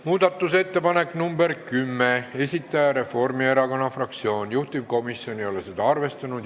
Muudatusettepaneku nr 10 esitaja on Reformierakonna fraktsioon, juhtivkomisjon ei ole seda arvestanud.